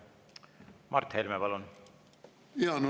Mart Helme, palun!